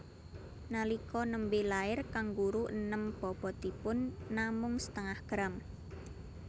Nalika nembé lair kanguru enèm bobotipun namung setengah gram